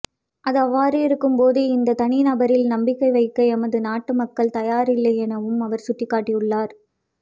அது அவ்வாறிருக்கும் போது இந்த தனி நபரில் நம்பிக்கை வைக்க எமது நாட்டு மக்கள் தயாரில்லையெனவும் அவர் சுட்டிக்காட்டியுள்ளார்